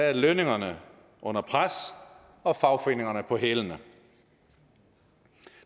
er lønningerne under pres og fagforeningerne på hælene